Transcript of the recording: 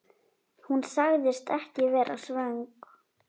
Hún sagðist ekki vera svöng.